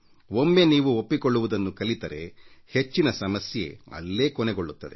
ಒಮ್ಮೆ ನೀವು ಒಪ್ಪಿಕೊಳ್ಳುವುದನ್ನು ಕಲಿತರೆ ಹೆಚ್ಚಿನ ಸಮಸ್ಯೆ ಅಲ್ಲೇ ಕೊನೆಗೊಳ್ಳುತ್ತದೆ